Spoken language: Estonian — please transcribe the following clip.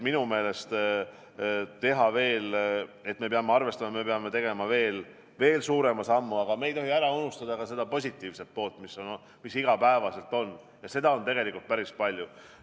Me peame arvestama, et me peame tegema veel suurema sammu, aga me ei tohi ära unustada ka seda positiivset poolt, mis iga päev on, ja seda on tegelikult päris palju.